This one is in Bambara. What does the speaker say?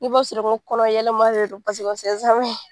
I b'a sɔrɔ n ko kɔnɔ yɛlɛma de do paseke